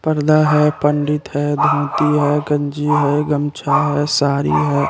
पर्दा है पंडित है धोती है कंजी है गमछा है सारी है।